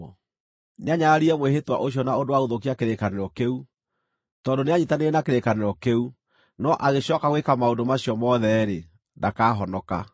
Nĩanyararire mwĩhĩtwa ũcio na ũndũ wa gũthũkia kĩrĩkanĩro kĩu. Tondũ nĩanyiitanĩire na kĩrĩkanĩro kĩu, no agĩcooka gwĩka maũndũ macio mothe-rĩ, ndakahonoka.